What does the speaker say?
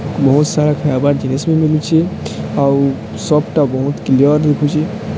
ବହୁତ ସାରା ଖାଇବାର ଜିନିଷ ମିଳୁଚି ଆଉ ସପ ଟା ବହୁତ କ୍ଳିଅର ଦେଖୁଚି।